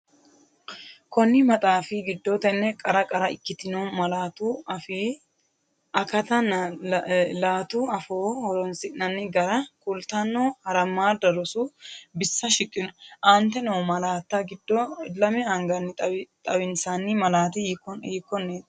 Konni maxaafi giddo tenne qara qara ikkitino malaatu afii akattanna laatu afoo horoonsi’nanni gara kultanno harammadda rosu bissa shiqqino, Aante noo malaatta giddo lame anganni xawinsanni malaati hiikkon?